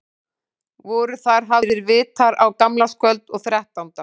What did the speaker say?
Voru þar hafðir vitar á gamlárskvöld og þrettánda.